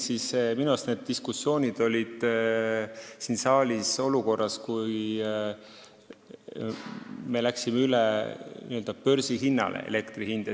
Minu arust need diskussioonid olid siin saalis siis, kui elektri hind läks n-ö üle börsihinnale.